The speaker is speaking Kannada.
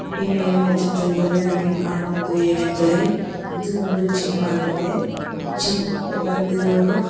ಈ ಮೇಲಿನ ಚಿತ್ರದಲ್ಲಿ ನನಗೆ ಕಾಣುವುದು ಏನೆಂದರೆ ಇದು ಒಂದು ಜಿಮ್ ಆಗಿದೆ ಜಿಮ್ಮಿ ಗ ಬಂದಿರೋರು--